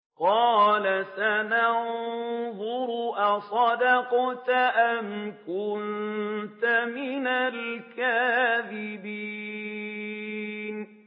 ۞ قَالَ سَنَنظُرُ أَصَدَقْتَ أَمْ كُنتَ مِنَ الْكَاذِبِينَ